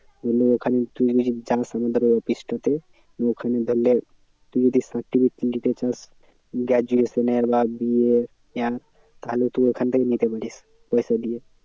ধরেনে তুই যদি যাস আমাদের office টাতে তুই ওখানে ধরেনে তুই যদি certificate তুলতে চাস graduation এর বা BA তাহলে তুই ওখান থেকে নিতে পারিস, পয়সা দিয়ে।